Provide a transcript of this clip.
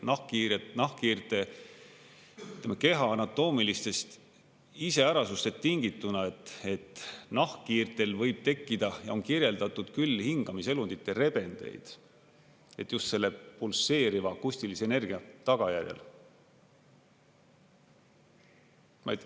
Nahkhiirte keha anatoomilistest iseärasustest tingituna võib nahkhiirtel tekkida ja on kirjeldatud küll hingamiselundite rebendeid just selle pulseeriva akustilise energia tagajärjel.